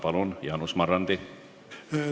Palun, Jaanus Marrandi!